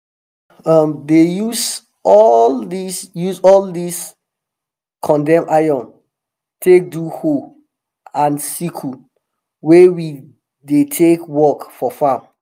i um dey use all dis use all dis condemn iron take do hoe and sickle wey we dey take work for farm.